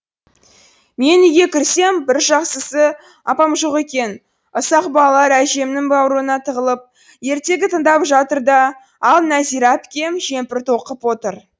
мен үйге кірсем бір жақсысы апам жоқ екен ұсақ балалар әжемнің баурына тығылып ертегі тыңдап жатыр да ал нәзира әпкем жемпір тоқып отыр